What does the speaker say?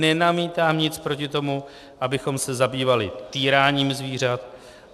Nenamítám nic proti tomu, abychom se zabývali týráním zvířat.